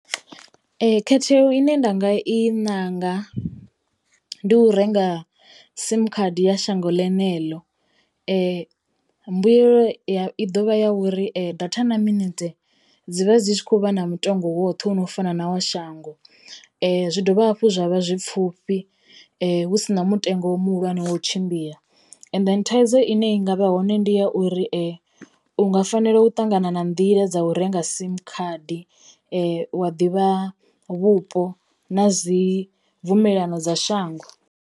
Khetheo ine nda nga i ṋanga ndi u renga sim khadi ya shango ḽeneḽo mbuyelo i ḓovha ya uri data na miminetse dzi vha dzi tshi khou vha na mutengo woṱhe wono fana nawo shango. Zwi dovha hafhu zwa vha zwi pfhufhi hu sina mutengo muhulwane wa u tshimbila and then thaidzo ine i ngavha ho hone ndi ya uri u nga fanela u ṱangana na nḓila dza u renga sim khadi wa ḓivha vhupo na dzi mvumelano dza shango.